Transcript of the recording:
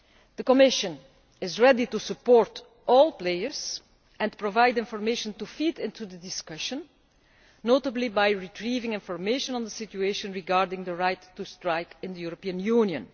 The Commission is ready to support all players and provide information to feed into the discussion, notably by retrieving information on the situation regarding the right to strike in the European Union.